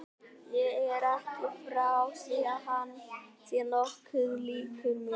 Ég er ekki frá því að hann sé nokkuð líkur mér.